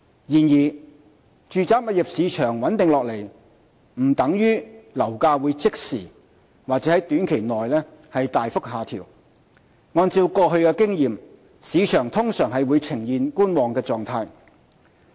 然而，住宅物業市場穩定下來不等於樓價會即時或在短期內大幅下調，按過去經驗，市場通常會呈觀望狀態。